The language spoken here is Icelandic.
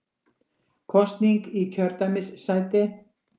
Kosning í kjördæmissæti